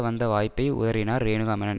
வந்த வாய்ப்பை உதறினார் ரேணுகா மேனன்